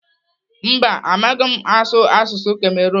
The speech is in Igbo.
Mba, amaghị m m asụ asụsụ Kamerun.